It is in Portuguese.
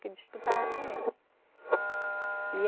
Que disputava com eles. E